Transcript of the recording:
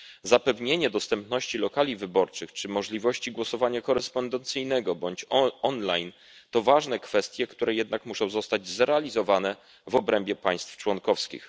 Zapewnienie dostępności lokali wyborczych czy możliwości głosowania korespondencyjnego bądź online to ważne kwestie, które jednak muszą zostać zrealizowane w obrębie państw członkowskich.